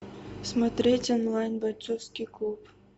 смотреть онлайн бойцовский клуб